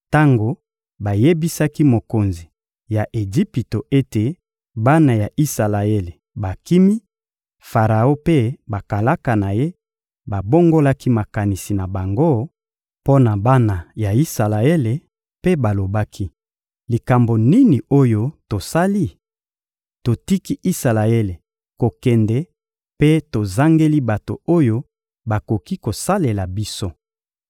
Tango bayebisaki mokonzi ya Ejipito ete bana ya Isalaele bakimi, Faraon mpe bakalaka na ye babongolaki makanisi na bango mpo na bana ya Isalaele mpe balobaki: «Likambo nini oyo tosali? Totiki Isalaele kokende mpe tozangeli bato oyo bakoki kosalela biso!»